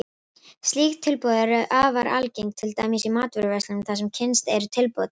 Slík tilboð eru afar algeng, til dæmis í matvöruverslunum þar sem kynnt eru tilboð dagsins.